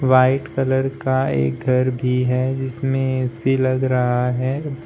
White colour का एक घर भी है जिसमें ए_सी लग रहा है।